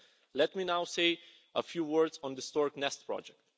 Let me now say a few words on the Stork's Nest project.